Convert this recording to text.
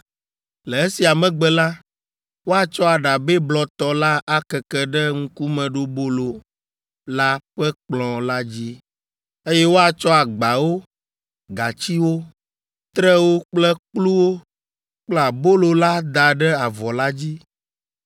“Le esia megbe la, woatsɔ aɖabɛ blɔtɔ la akeke ɖe ŋkumeɖobolo la ƒe kplɔ̃ la dzi, eye woatsɔ agbawo, gatsiwo, trewo kple kpluwo kple abolo la ada ɖe avɔ la dzi.